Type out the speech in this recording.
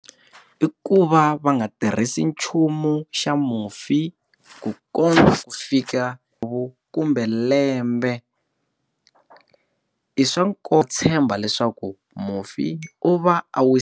I ku va va nga tirhisi nchumu xa mufi ku kota ku fika ku kumbe lembe i swa nkoka ku tshemba leswaku mufi u va a wu.